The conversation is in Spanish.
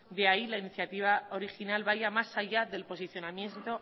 de ahí que la iniciativa original vaya más allá del posicionamiento